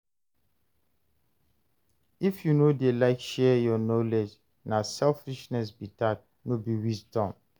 If you no dey like share your knowledge, na selfishness be that, no be wisdom.